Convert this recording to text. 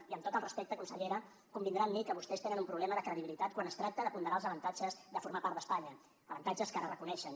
i amb tot el respecte consellera convindrà amb mi que vostès tenen un problema de credibilitat quan es tracta de ponderar els avantatges de formar part d’espanya avantatges que ara reconeixen